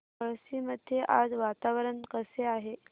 पळशी मध्ये आज वातावरण कसे आहे